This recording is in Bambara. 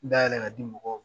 N dayɛlɛn ka di mɔgɔ